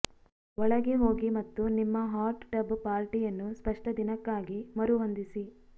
ಒಳಗೆ ಹೋಗಿ ಮತ್ತು ನಿಮ್ಮ ಹಾಟ್ ಟಬ್ ಪಾರ್ಟಿಯನ್ನು ಸ್ಪಷ್ಟ ದಿನಕ್ಕಾಗಿ ಮರುಹೊಂದಿಸಿ